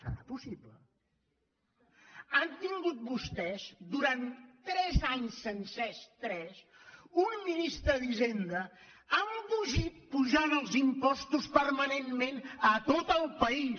serà possi·ble han tingut vostès durant tres anys sencers tres un ministre d’hisenda embogit apujant els impostos permanentment a tot el país